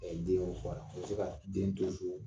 den ma fɔ a ra, a be se ka den to so.